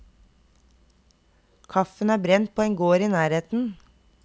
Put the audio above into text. Kaffen er brent på en gård i nærheten.